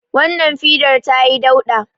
Wannan fidar ta yi dauɗa